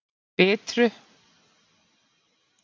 Bitru